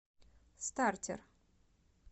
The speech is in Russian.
стартер